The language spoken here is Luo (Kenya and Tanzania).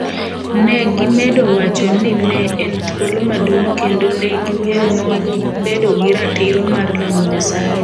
Ne gimedo wacho ni ne en thuolo maduong’ kendo ne giweyo mon bedo gi ratiro mar lamo Nyasaye.